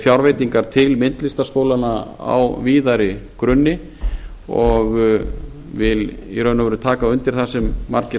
fjárveitingar til myndlistarskólanna á víðari grunni og ég vil í raun og veru taka undir það sem margir